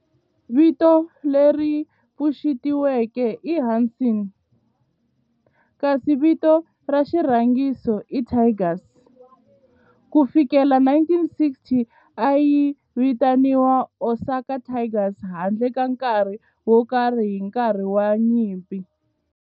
Vito leri pfuxetiweke i"Hanshin" kasi vito ra xirhangiso i"Tigers". Ku fikela hi 1960, a yi vitaniwa Osaka Tigers handle ka nkarhi wo karhi hi nkarhi wa nyimpi.